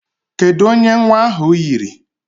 Kedụ onye nwa ahụ yiri?